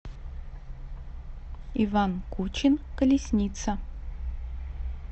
иван кучин колесница